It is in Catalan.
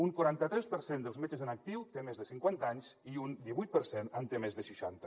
un quaranta tres per cent dels metges en actiu té més de cinquanta anys i un divuit per cent en té més de seixanta